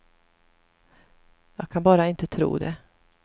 Jag kan bara inte tro det.